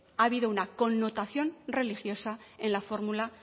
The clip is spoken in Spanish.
ha habido una connotación religiosa en la fórmula